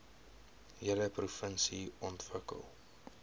hele provinsie ontwikkel